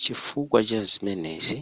chifukwa chazimenezi